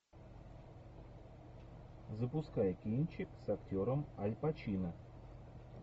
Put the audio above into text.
запускай кинчик с актером аль пачино